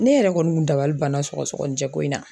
Ne yɛrɛ kɔni kun dabali banna sɔgɔsɔgɔninjɛ ko in na.